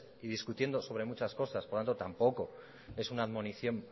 y discutiendo sobre muchas cosas por lo tanto tampoco es una admonición